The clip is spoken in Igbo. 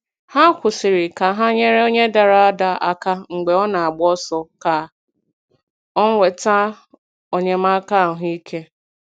Ha kwụsịrị ka ha nyere onye dara ada aka mgbe ọ na - agba ọsọ ka o nweta enyemaka ahụ ike.